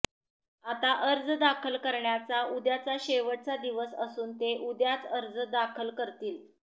आता अर्ज दाखल करण्याचा उद्याचा शेवटचा दिवस असून ते उद्याच अर्ज दाखल करतील